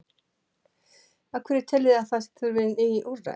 Af hverju teljið þið að það þurfi ný úrræði?